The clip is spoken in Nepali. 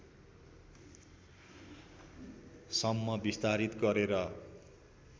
सम्म विस्तारित गरेर